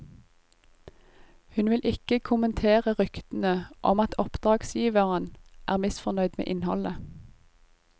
Hun vil ikke kommentere ryktene om at oppdragsgiveren er misfornøyd med innholdet.